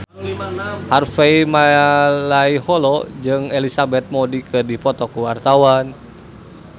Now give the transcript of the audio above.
Harvey Malaiholo jeung Elizabeth Moody keur dipoto ku wartawan